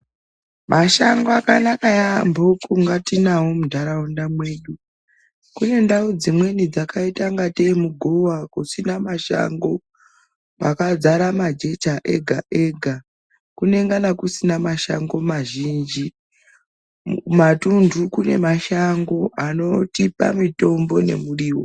Mashando akanaka yaambo kunga tinavo muntaraunda mwedu. Kune ndau dzimweni dzakaita kunga tee muguva kusina mashango. Kwakazara majecha ega-ega kunengana kusina mashango mazhinji matundu kune mashango anotipa mitombo nemurivo.